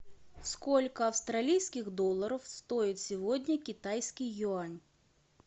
сколько австралийских долларов стоит сегодня китайский юань